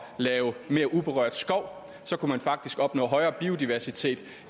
lave mere uberørt skov kunne man faktisk opnå højere biodiversitet